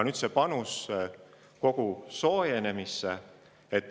Nüüd see panus kogu soojenemisse.